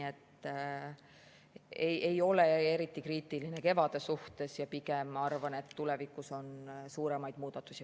Ma ei ole eriti kriitiline kevadel suhtes ja pigem arvan, et tulevikus on vaja teha suuremaid muudatusi.